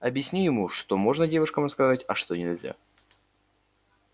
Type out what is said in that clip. объясню ему что можно девушкам рассказывать а что нельзя